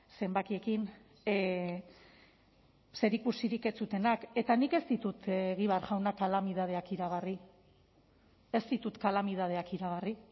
zenbakiekin zerikusirik ez zutenak eta nik ez ditut egibar jauna kalamidadeak iragarri ez ditut kalamidadeak iragarri